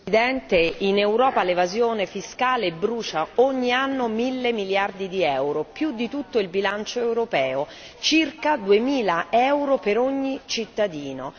Signora Presidente, onorevoli colleghi, in Europa l'evasione fiscale brucia ogni anno mille miliardi di euro, più di tutto il bilancio europeo, circa duemila euro per ogni cittadino.